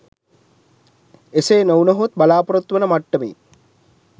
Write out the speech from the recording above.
එසේ නොවුනහොත් බලාපොරොත්තු වන මට්ටමේ